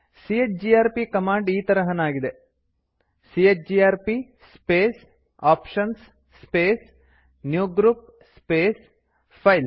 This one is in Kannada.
ಚಿಜಿಆರ್ಪಿ ಕಮ್ಯಾಂಡ್ ಈ ತರಹನಾಗಿದೆ chgrp space options space new group space files